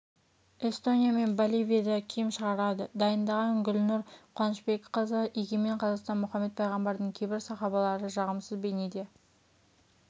эстония мен боливияда киім шығарады дайындаған гүлнұр қуанышбекқызы егемен қазақстан мұхаммед пайғамбардың кейбір сахабалары жағымсыз бейнеде